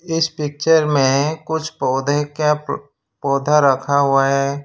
इस पिक्चर में कुछ पौधे क्या पौधा रखा हुआ है।